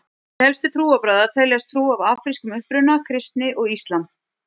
Til helstu trúarbragða teljast trú af afrískum uppruna, kristni og íslam.